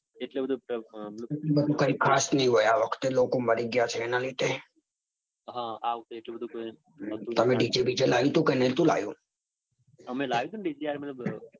એટલું બધું કાંઈ એટલું કાંઈ ખાસ નઈ હોય આ વખતે લોકો મરી ગયા હશે એના લીધે. હા આ વખતે એટલું બધું કાંઈ નાતુ લાવ્યા તમે dj બીજે લાયુ તું કે નતુ લાયુ. અમે લાયુ તું ને dj યાર મતલબ